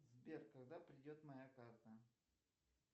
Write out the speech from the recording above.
сбер когда придет моя карта